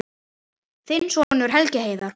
Þinn sonur, Helgi Heiðar.